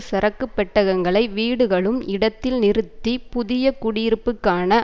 சரக்குப் பெட்டகங்களை வீடுகளும் இடத்தில் நிறுத்தி புதிய குடியிருப்புக்கான